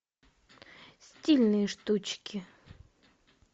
стильные штучки